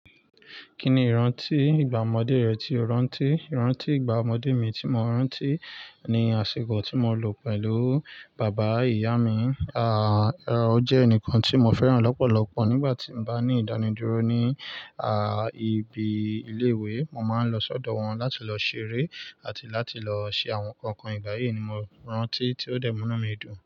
Kí ni ìrántí ìgbà ọmọdé rẹ tí o rántí? Ìrántí ìgbà ọmọdé mi tí mo rántí ni àsìkò tí mo lò pẹ̀lú bàbá ìyá mi, à, o jẹ́ ẹnìkan tí mo féràn lọ́pọ̀lọpọ̀ nígbà tí mo bá ní ìdánidúró ní, à, ibi ilé ìwé, mo máa ń lọ sọ́dọ̀ wọn láti lọ ṣeré àti láti lọ ṣe àwọn nǹkan ìgbà yìí ni mo rántí tí ó dẹ̀ mú mí dùn.